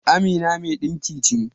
Amina mai dinki ce.